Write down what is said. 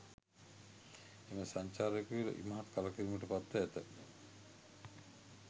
එම සංචාරක යුවළ ඉමහත් කලකිරීමට පත්ව ඇත